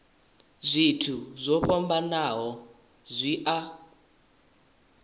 zwithu zwo fhambanaho zwi a